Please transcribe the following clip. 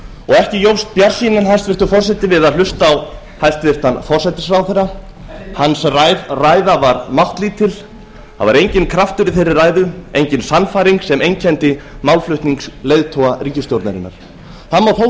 ekki jókst bjartsýnin hæstvirtur forseti við að hlusta á hæstvirtan forsætisráðherra hans ræða var máttlítil það var enginn kraftur í þeirri ræðu engin sannfæring sem einkenndi málflutning leiðtoga ríkisstjórnarinnar það má þó